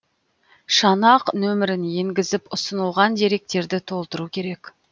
шанақ нөмірін енгізіп ұсынылған деректерді толтыру керек